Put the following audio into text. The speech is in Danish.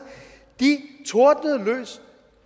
tordnede løs